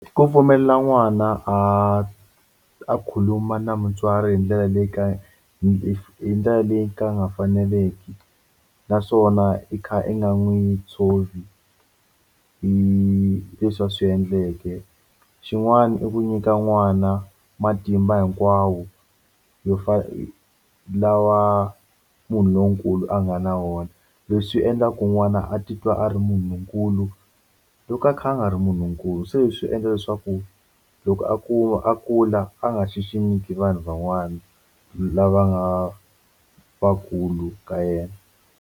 Ku pfumelela n'wana a a khuluma na mutswari hi ndlela leyi ka hi ndlela leyi ka nga faneleki naswona i kha i nga n'wi tshovi hi leswi a swi endleke xin'wani i ku nyika n'wana matimba hinkwawo yo lawa munhu lonkulu a nga na wona leswi endlaka ku n'wana a titwa a ri munhunkulu loko a kha a nga ri munhunkulu se swi endla leswaku loko a kuma a kula a nga xiximiki vanhu van'wana lava nga vakulu ka yena.